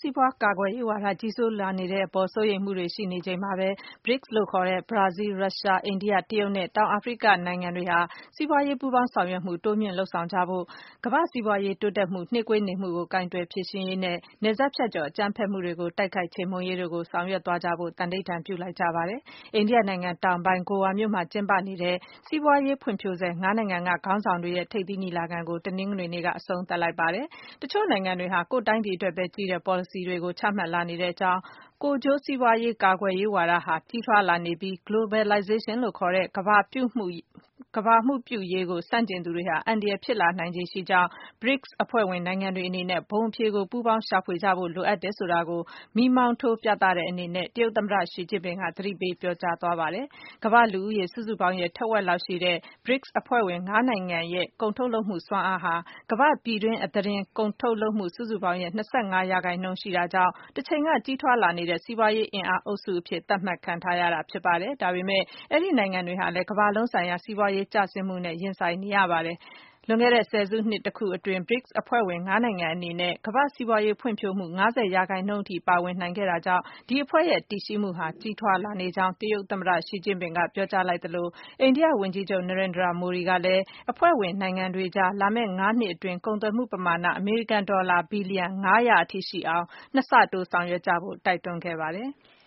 စီးပွား ကာကွယ်ရေးဝါဒ ကြီးစိုးလာနေတဲ့အပေါ် စိုးရိမ်မှုတွေရှိနေတဲ့ အချိန်မှာပဲ BRICS လို့ခေါ်တဲ့ ဘရာဇီး၊ ရုရှား၊ အိန္ဒိယ၊ တရုတ်နဲ့ တောင်အာဖရိကနိုင်ငံတွေဟာ စီးပွားရေး ပူးပေါင်းဆောင်ရွက်မှု တိုးမြင့် လုပ်ဆောင်ကြဖို့၊ ကမ္ဘာ့စီးပွားရေး တိုးတက်မှု နှေးကွေးနေမှုကို ကိုင်တွယ် ဖြေရှင်းရေးနဲ့ နယ်စပ်ဖြတ်ကျော် အကြမ်းဖက်မှုတွေကို တိုက်ခိုက် ချေမှုန်းရေးတို့ လုပ်ဆောင်သွားကြဖို့ သံဓိဌာန် ပြုလိုက်ကြပါတယ်။ အိန္ဒိယနိုင်ငံတောင်ပိုင်း၊ Goa မြို့မှာ ကျင်းပနေတဲ့ စီးပွားရေး ဖွံ့ဖြိုးဆဲ ၅ နိုင်ငံက ခေါင်းဆောင်တွေရဲ့ ထိပ်သီးညီလာခံကို တနင်္ဂနွေနေ့က အဆုံးသတ်လိုက်တာ ဖြစ်ပါတယ်။ တချို့နိုင်ငံတွေဟာ ကိုယ့်တိုင်းပြည်အတွက်ပဲ ကြည့်တဲ့ ပေါ်လစီတွေကို ချမှတ်လာနေကြောင်း၊ ကိုယ်ကျိုးစီးပွားရေး ကာကွယ်ရေးဝါဒဟာ ကြီးထွားလာနေပြီး Globalization လို့ခေါ်တဲ့ ကမ္ဘာမှုပြုရေးကို ဆန့်ကျင်သူတွေဟာ အန္တရာယ်ဖြစ်လာနိုင်ခြေရှိကြောင်း BRICS အဖွဲ့ဝင် နိုင်ငံတွေအနေနဲ့ ဘုံအဖြေကို ပူးပေါင်း ရှာဖွေကြဖို့ လိုအပ်တယ်ဆိုတာကို မီးမောင်းထိုး ပြသတဲ့အနေနဲ့ တရုတ်သမ္မတ ရှီကျင့်ပင်က သတိပေး ပြောကြားခဲ့ပါတယ်။ ကမ္ဘာ့လူဦးရေ စုစုပေါင်းရဲ့ ထက်ဝက်လောက်ရှိတဲ့ BRICS အဖွဲ့ဝင် ၅ နိုင်ငံရဲ့ ကုန်ထုတ်လုပ်မှု စွမ်းအားဟာ ကမ္ဘာ့ ပြည်တွင်းအသားတင် ကုန်ထုတ်လုပ်မှု စုစုပေါင်းရဲ့ ၂၅% ရှိတာကြောင့် တချိန်က ကြီးထွားလာနေတဲ့ စီးပွားအင်အား အုပ်စုအဖြစ် သတ်မှတ်ခံထားရတာ ဖြစ်ပါတယ်။ ဒါပေမယ့် ဒီနိုင်ငံတွေဟာလည်း ကမ္ဘာလုံးဆိုင်ရာ စီးပွားရေး ကျဆင်းမှုနဲ့ ရင်ဆိုင်နေရတာ ဖြစ်ပါတယ်။ လွန်ခဲ့တဲ့ ၁၀ စုနှစ် တခုအတွင်း BRICS အဖွဲ့ဝင် ၅ နိုင်ငံအနေနဲ့ ကမ္ဘာ့စီးပွားရေးဖွံ့ဖြိုးမှု ၅၀% အထိ ပါဝင်နိုင်ခဲ့တာကြောင့် ဒီအဖွဲ့ရဲ့ တည်ရှိမှုဟာ ကြီးထွားလာနေကြောင်း တရုတ်သမ္မတ ရှီကျင့်ပင်က ပြောကြားလိုက်သလို အိန္ဒိယ ဝန်ကြီးချုပ် Narendra Modi ကလည်း အဖွဲ့ဝင် နိုင်ငံတွေအကြား လာမယ့် ၅ နှစ်အတွင်း ကုန်သွယ်မှုပမာဏ အမေရိကန်ဒေါ်လာ ဘီလီယံ ၅၀၀ အထိ ရှိအောင် ၂ ဆတိုး လုပ်ဆောင်ကြဖို့ တိုက်တွန်းလိုက်ပါတယ်။